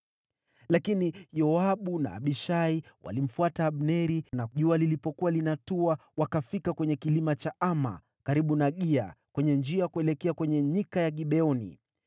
Lakini Yoabu na Abishai walimfuata Abneri, na jua lilipokuwa linatua, wakafika kwenye kilima cha Ama, karibu na Gia kwenye njia ya kuelekea kwenye nyika ya Gibeoni.